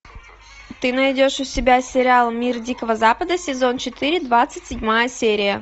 ты найдешь у себя сериал мир дикого запада сезон четыре двадцать седьмая серия